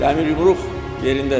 Dəmir yumruq yerindədir.